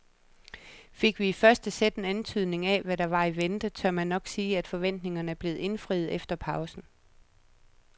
Fik vi i første sæt en antydning af hvad der var i vente, tør man nok sige at forventningerne blev indfriet efter pausen.